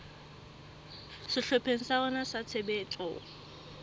sehlopheng sa rona sa tshebetso